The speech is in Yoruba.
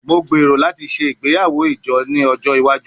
Mo gbero lati ṣe igbeyawo ijo ni ojo iwaju